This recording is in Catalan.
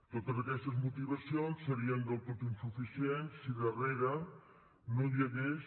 totes aquestes motivacions serien del tot insuficients si darrere no hi hagués